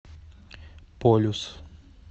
полюс